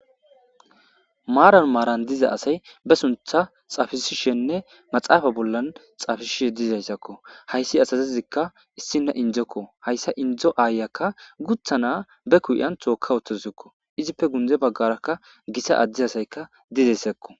Maran maran diza asay be suntha xafisishenne maxafe bolla xafisishe dizaysakko. Hays asazika issina inzoko inzo ayiyaka guutha na'a be ki'on toka utadusko , izippe gunde bagaraka Gita Ade asiyka dizaysako